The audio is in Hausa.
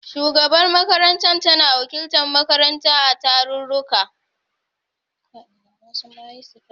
Shugabar makarantar tana wakiltar makaranta a tarurruka.